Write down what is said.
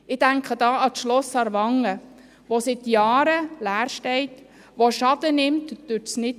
Ich denke dabei an das Schloss Aarwangen, das seit Jahren leer steht, das durch den Nichtgebrauch Schaden nimmt.